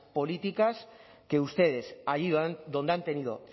políticas que ustedes allí donde han tenido